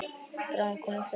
Bráðum koma þau heim.